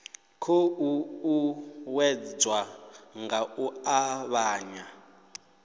khou uuwedzwa nga u avhanya